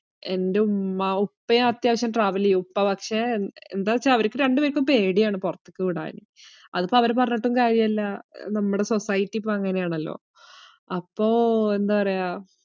എൻറെ ഉമ്മ ഉപ്പയും അത്യാവശ്യം travel എയ്യും, ഉപ്പ പക്ഷേ എന്താച്ചാ അവർക്ക് രണ്ട് പേർക്കും പേടിയാണ് പൊറത്തേക്ക് വിടാൻ. അതിപ്പോ അവരെ പറഞ്ഞിട്ടും കാര്യവില്ല. നമ്മടെ society ഇപ്പോ അങ്ങനെയാണല്ലോ. അപ്പൊ എന്താ പറയാ?